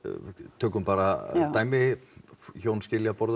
tökum bara dæmi hjón skilja á borði og